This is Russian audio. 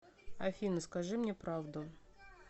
афина скажи мне правду